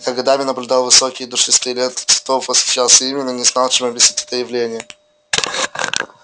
я годами наблюдал высокие и душистые ленты цветов восхищался ими но не знал чем объяснить это явление